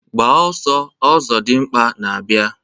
Gbaa ọsọọ! Ọzọdimgba na-abịa